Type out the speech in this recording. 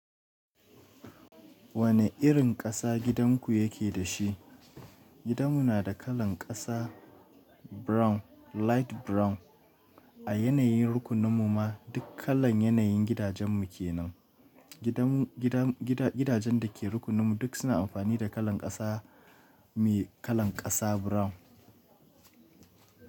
Wane irin ƙasa gidanku yake da shi? Gidanmu na da kalan ƙasa brown, light brown. A yanayin rukunin mu ma duk kalan yanayin gidajen mu ke nan. Gidan gidan gida gidajen da ke rukunin mu duk suna amfani da kalan ƙasa mai kalan ƙasa brown.